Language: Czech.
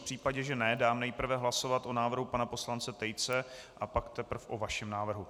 V případě že ne, dám nejprve hlasovat o návrhu pana poslance Tejce, a pak teprve o vašem návrhu.